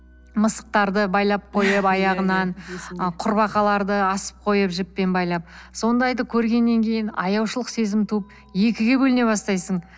мысықтарды байлап койып аяғынан ы кұрбақаларды асып қойып жіппен байлап сондайды көргеннен кейін аяушылық сезімі туып екіге бөліне бастайсың